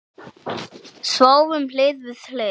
Sváfum hlið við hlið.